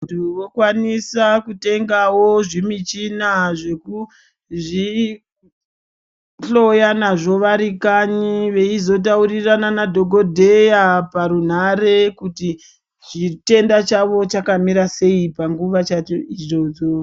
Muntu wokwanisawo kutenga zvimichina zvekuzvihloya nazvo ari kanyi eizotaurirana nadhokodheya kuti chitenda chakwe chakamira sei panguva idzodzo.